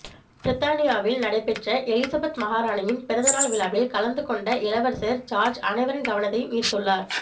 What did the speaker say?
பிரித்தானியாவில் நடைபெற்ற எலிசபெத் மகாராணியின் பிறந்தநாள் விழாவில் கலந்துகொண்ட இளவரசர் ஜார்ஜ் அனைவரின் கவனத்தையும் ஈர்த்துள்ளார்